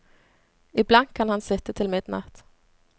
Iblant kan han sitte til midnatt.